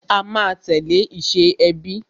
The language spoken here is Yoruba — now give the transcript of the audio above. A máa tẹ̀lé ìṣe ẹbí